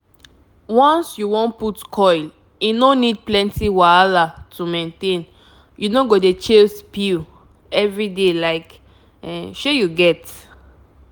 once you wan put coil e no need plenty wahala to maintainyou no go dey chase pill every day like um shey you get?